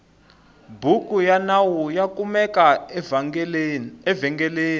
bhuku yanawu yakumeka evengeleni